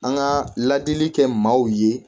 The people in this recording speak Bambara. An ka ladili kɛ maaw ye